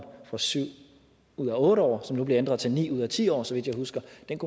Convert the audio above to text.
på syv ud af otte år og som nu bliver ændret til ni ud af ti år så vidt jeg husker